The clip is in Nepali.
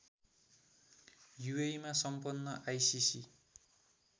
युएइमा सम्पन्न आइसिसि